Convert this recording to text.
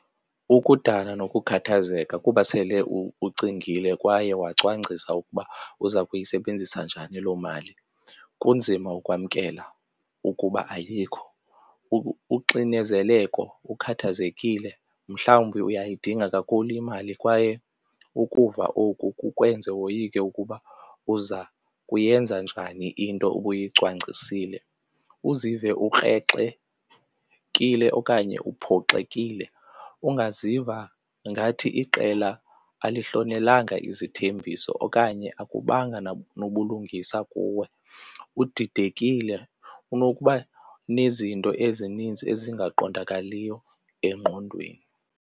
Ukudana nokukhathazeka kuba sele ucingile kwaye wacwangcisa ukuba uza kuyisebenzisa njani loo mali kunzima ukwamkela ukuba ayikho. Uxinezeleko ukhathazekile mhlawumbi uyayidinga kakhulu imali kwaye ukuva oku kukwenza woyike ukuba uza kuyenza njani into ubuyicwangcisile. Uzive ukrexekile okanye uphoxekile ungaziva ngathi iqela alihlonelanga izithembiso okanye akubanga nobulungisa kuwe, udidekile unokuba nezinto ezininzi ezingaqondakaliyo engqondweni.